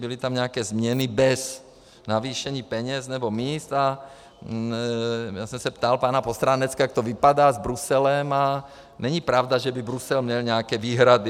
Byly tam nějaké změny bez navýšení peněz nebo míst a já jsem se ptal pana Postráneckého, jak to vypadá s Bruselem, a není pravda, že by Brusel měl nějaké výhrady.